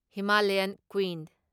Himalayan queen